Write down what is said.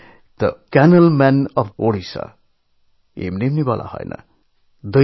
তাঁকে the canal man of Odisha এমনি বলা হয় না